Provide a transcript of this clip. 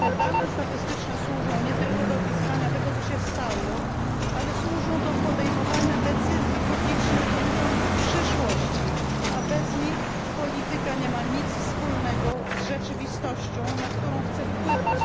Te dane statystyczne służą nie tylko do opisywania tego, co się stało, ale służą też do podejmowania decyzji publicznych dotyczących przyszłości, a bez nich polityka nie ma nic wspólnego z rzeczywistością, na którą chce wpływać.